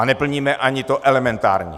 A neplníme ani to elementární!